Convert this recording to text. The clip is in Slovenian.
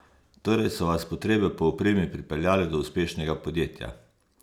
Torej so vas potrebe po opremi pripeljale do uspešnega podjetja?